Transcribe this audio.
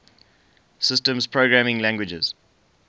systems programming languages